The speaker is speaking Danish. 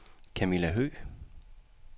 Kamilla Høgh